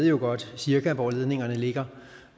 jo godt ved cirka hvor ledningerne ligger